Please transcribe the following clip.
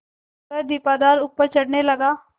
वह दीपाधार ऊपर चढ़ने लगा